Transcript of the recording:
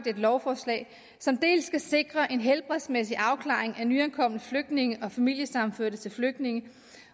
et lovforslag som dels skal sikre en helbredsmæssig afklaring af nyankomne flygtninge og familiesammenførte til flygtninge